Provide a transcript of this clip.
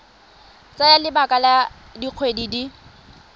tsaya lebaka la dikgwedi di